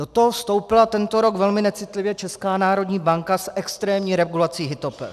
Do toho vstoupila tento rok velmi necitlivě Česká národní banka s extrémní regulací hypoték.